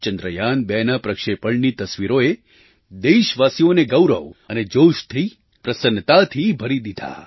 ચંદ્રયાન2ના પ્રક્ષેપણની તસવીરોએ દેશવાસીઓને ગૌરવ અને જોશથી પ્રસન્નતાથી ભરી દીધા